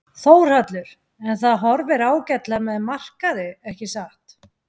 Þórhallur: En það horfir ágætlega með markaði ekki satt?